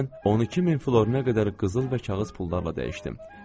Mən 12000 florinə qədər qızıl və kağız pullarla dəyişdim.